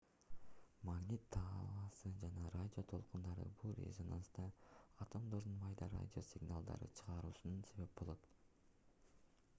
магнит талаасы жана радио толкундары бул резонанста атомдордун майда радио сигналдарды чыгаруусуна себеп болот